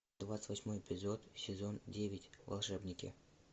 двадцать восьмой эпизод сезон девять волшебники